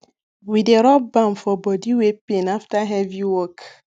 we dey rub balm for body wey pain after heavy work